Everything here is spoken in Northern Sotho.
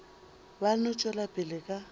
ba no tšwela pele ka